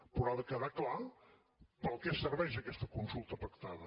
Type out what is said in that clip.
però ha de quedar clar per a què serveix aquesta consulta pactada